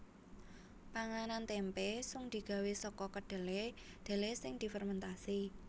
Panganan témpé sung digawé saka kedhelé dhelé sing difermèntasi